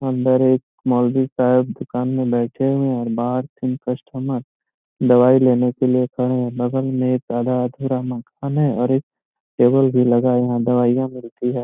अंदर एक मौलवी शायद दुकान में बैठे हुए हैं और बाहर तीन कस्टमर दवाई लेने के लिए खड़े हैं बगल में एक आधा-अधूरा मकान है और एक टबेल भी लगे है दवाई मिलती है।